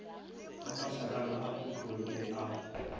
ga mašakana a khutlonne a